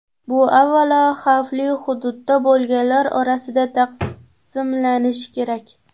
Bu avvalo xavfli hududda bo‘lganlar orasida taqsimlanishi kerak.